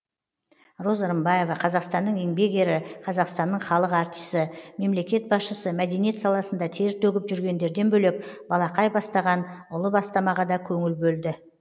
роза рымбаева қазақстанның еңбек ері қазақстанның халық артисі мемлекет басшысы мәдениет саласында тер төгіп жүргендерден бөлек балақай бастаған ұлы бастамаға да көңіл бөлді